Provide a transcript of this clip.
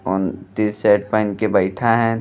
और टीशर्ट पहिन के बइठा हैं।